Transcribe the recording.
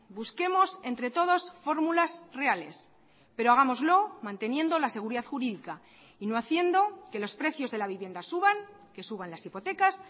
busquemos entre todos fórmulas reales pero hagámoslo manteniendo la seguridad jurídica y no haciendo que los precios de la vivienda suban que suban las hipotecas